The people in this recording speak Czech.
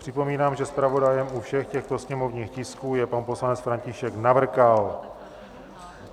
Připomínám, že zpravodajem u všech těchto sněmovních tisků je pan poslanec František Navrkal.